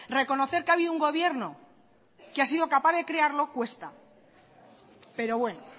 reconocer que ha habido un gobierno que ha sido capaz de crearlo cuesta pero bueno